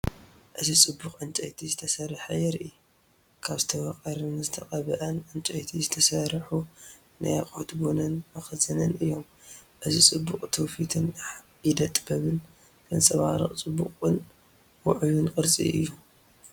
እዚ ጽቡቕ ዕንጨይቲ ዝተሰርሐ የርኢ። ካብ ዝተመቐረን ዝተቐብአን ዕንጨይቲ ዝተሰርሑ ናይ ኣቅሑት ቡንን መኽዘንን እዮም። እዚ ጽባቐ ትውፊትን ኢደ ጥበብን ዘንጸባርቕ ጽቡቕን ውዑይን ቅርጺ እዩ።